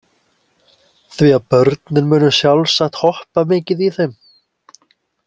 Því að börnin munu sjálfsagt hoppa mikið í þeim.